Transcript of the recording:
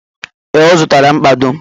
Ee, ọ zụtara mkpado.